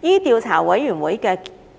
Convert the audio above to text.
依調查委員會